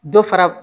Dɔ fara